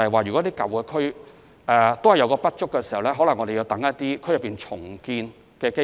如果舊區土地不足，我們可能要等待區內重建的機會。